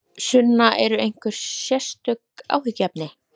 Sunna: Eru einhver sérstök áhyggjuefni?